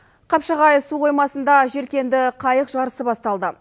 қапшағай су қоймасында желкенді қайық жарысы басталды